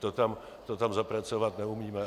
To tam zapracovat neumíme.